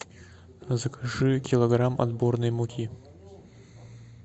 закажи килограмм отборной муки